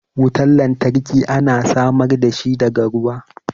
Wutan lantarki ana samar da shi daga ruwa.